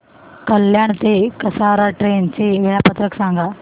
कल्याण ते कसारा ट्रेन चे वेळापत्रक सांगा